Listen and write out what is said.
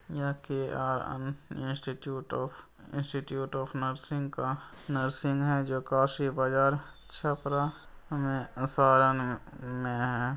यहां के institute of institute of nursing का नर्सिंग है जो काशी बाजार छपरा में आ सारण में है।